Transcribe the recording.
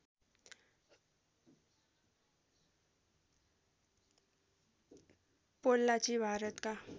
पोल्लाची भारतका